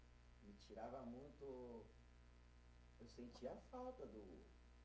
Tirava muito, eu sentia falta do